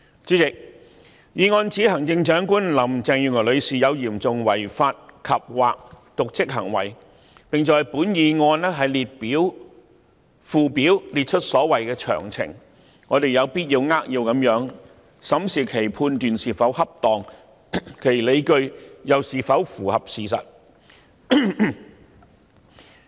主席，議案指行政長官林鄭月娥女士有嚴重違法及/或瀆職行為，並在議案附表列出所謂的詳情，我們有必要扼要地審視其判斷是否恰當，其理據又是否符合事實。